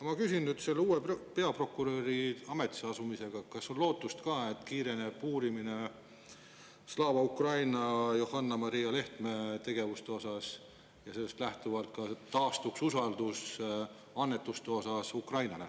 Ma küsin nüüd selle uue peaprokuröri ametisse asumisega seoses: kas on ka lootust, et kiireneb uurimine Slava Ukraini ja Johanna-Maria Lehtme tegevuse osas ja sellest lähtuvalt taastuks usaldus Ukrainale annetamise vastu?